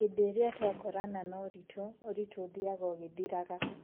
Hĩndĩ ĩrĩa tũakorana na ũritũ, ũritũ ũthiaga ũgĩthiraga.